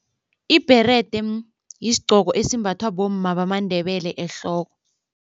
Ibherede yisigqoko esimbathwa bomma bamaNdebele ehloko.